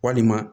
Walima